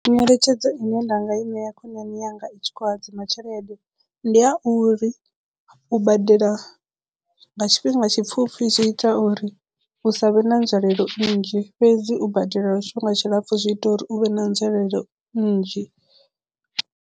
Nyeletshedzo ine nda nga i ṋea khonani yanga i tshi khou hadzima tshelede ndi ya uri u badela nga tshifhinga tshipfhufhi zwi ita uri hu sa vhe na nzwalelo nnzhi fhedzi u badela lwa tshifhinga tshilapfhu zwi ita uri u vhe na nzwalelo nnzhi.